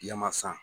Yamasa